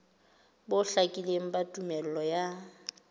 bo hlakileng ba tumello ya